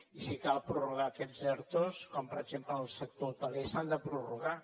i si cal prorrogar aquests ertos com per exemple en el sector hoteler s’han de prorrogar